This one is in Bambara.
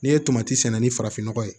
N'i ye tomati sɛnɛ ni farafin nɔgɔ ye